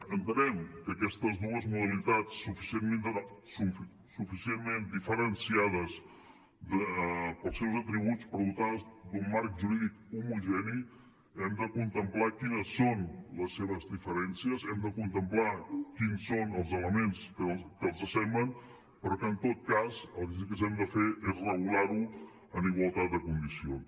entenem que aquestes dues modalitats suficientment diferenciades pels seus atributs però dotades d’un marc jurídic homogeni hem de contemplar quines són les seves diferències hem de contemplar quins són els elements que els assemblen però que en tot cas el que sí que hem de fer és regular ho en igualtat de condicions